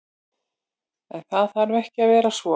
En, það þarf ekki að vera svo.